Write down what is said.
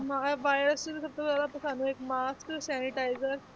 ਮਗਰ virus ਜੋ ਸਭ ਤੋਂ ਜ਼ਿਆਦਾ mask sanitizer